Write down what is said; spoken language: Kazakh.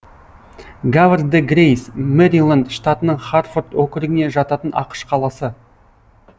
хавр дэ грэйс мэриленд штатының харфорд округіне жататын ақш қаласы